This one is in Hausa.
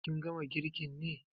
Ka gama girkin ne?